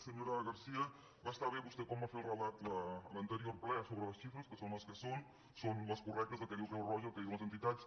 senyora gar·cía va estar bé vostè quan va fer el relat en l’anterior ple sobre les xifres que són les que són són les cor·rectes el que diu creu roja el que diuen les entitats